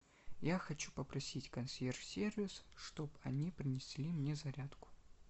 я хочу попросить консьерж сервис чтоб они принесли мне зарядку